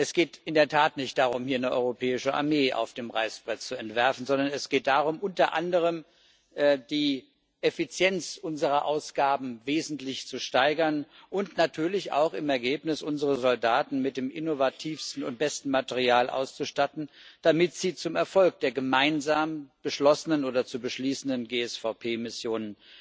Es geht in der Tat nicht darum, hier eine europäische Armee auf dem Reißbrett zu entwerfen, sondern es geht darum, unter anderem die Effizienz unserer Ausgaben wesentlich zu steigern und natürlich auch im Ergebnis unsere Soldaten mit dem innovativsten und besten Material auszustatten, damit sie zum Erfolg der gemeinsam beschlossenen oder zu beschließenden GSVP Missionen